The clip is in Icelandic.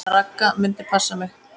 Ragga myndi passa mig.